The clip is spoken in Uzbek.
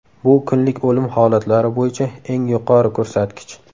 Bu kunlik o‘lim holatlari bo‘yicha eng yuqori ko‘rsatkich.